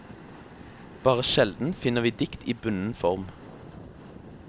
Bare sjelden finner vi dikt i bunden form.